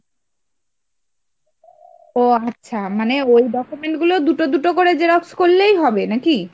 ওহ আচ্ছা মানে ওই document গুলো দুটো দুটো করে Xerox করলেই হবে নাকি ?